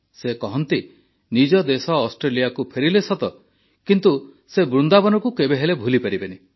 ସେ କହନ୍ତି ସେ ନିଜ ଦେଶ ଅଷ୍ଟ୍ରେଲିଆକୁ ଫେରିଲେ ସତ କିନ୍ତୁ ସେ ବୃନ୍ଦାବନକୁ କେବେହେଲେ ଭୁଲିପାରିଲେନି